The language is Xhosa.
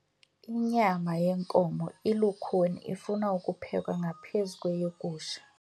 Inyama yenkomo ilukhuni ifuna ukuphekwa ngaphezu kweyegusha.